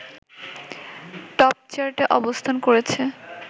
টপচার্টে অবস্থান করেছে